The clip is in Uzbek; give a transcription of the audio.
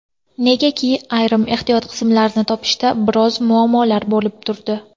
Negaki, ayrim ehtiyot qismlarini topishda biroz muammolar bo‘lib turdi.